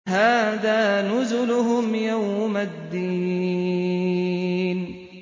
هَٰذَا نُزُلُهُمْ يَوْمَ الدِّينِ